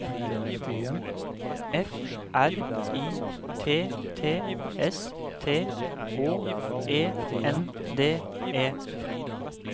F R I T T S T Å E N D E